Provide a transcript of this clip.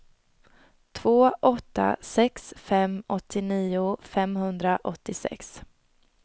två åtta sex fem åttionio femhundraåttiosex